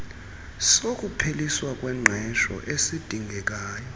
sokupheliswa kwengqesho esidingekayo